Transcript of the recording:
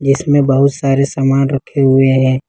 इसमें बहुत सारे सामान रखे हुए हैं।